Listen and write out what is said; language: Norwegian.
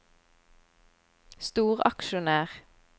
storaksjonær